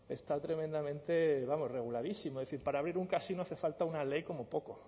está tremendamente vamos reguladísimo es decir para abrir un casino falta una ley como poco